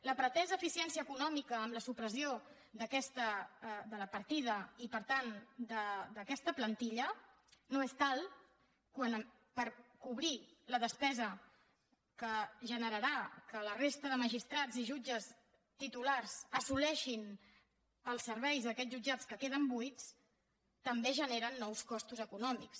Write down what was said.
la pretesa eficiència econòmica amb la supressió de la partida i per tant d’aquesta plantilla no és tal per cobrir la despesa que generarà que la resta de magistrats i jutges titulars assoleixin els serveis d’aquests jutjats que queden buits també generen nous costos econòmics